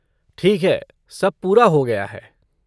ठीक है। सब पूरा हो गया है।